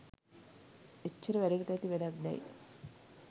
එච්චර වැඩකට ඇති වැඩක් දැයි